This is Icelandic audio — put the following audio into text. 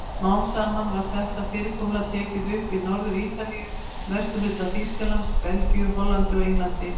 Smám saman var þetta fyrirkomulag tekið upp í Norður-Ítalíu, vesturhluta Þýskalands, Belgíu, Hollandi og Englandi.